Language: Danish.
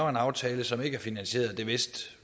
en aftale som ikke er finansieret og det vidste